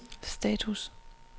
status